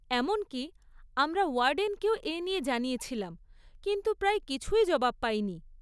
এমনকি আমরা ওয়ার্ডেনকেও এ নিয়ে জানিয়েছিলাম কিন্তু প্রায় কিছুই জবাব পাইনি।